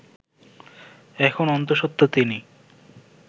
এখন অন্তঃসত্ত্বা তিনি